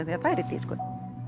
því það er í tísku